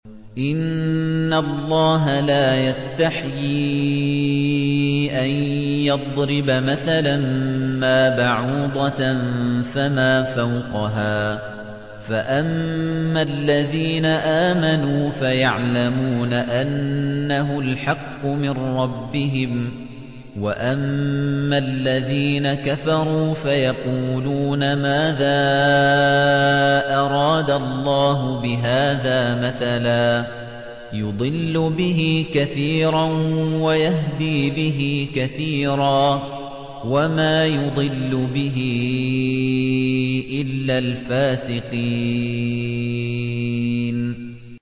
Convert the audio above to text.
۞ إِنَّ اللَّهَ لَا يَسْتَحْيِي أَن يَضْرِبَ مَثَلًا مَّا بَعُوضَةً فَمَا فَوْقَهَا ۚ فَأَمَّا الَّذِينَ آمَنُوا فَيَعْلَمُونَ أَنَّهُ الْحَقُّ مِن رَّبِّهِمْ ۖ وَأَمَّا الَّذِينَ كَفَرُوا فَيَقُولُونَ مَاذَا أَرَادَ اللَّهُ بِهَٰذَا مَثَلًا ۘ يُضِلُّ بِهِ كَثِيرًا وَيَهْدِي بِهِ كَثِيرًا ۚ وَمَا يُضِلُّ بِهِ إِلَّا الْفَاسِقِينَ